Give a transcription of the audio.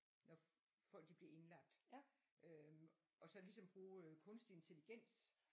Nå folk de bliver indlagt øhm og så ligesom bruge kunstig intelligens